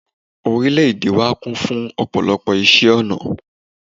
Orílẹ̀ èdè wa kún fún ọ̀pọ̀lọpọ̀ ìṣe ọnà